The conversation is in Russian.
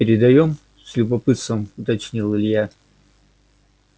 передаём с любопытством уточнил илья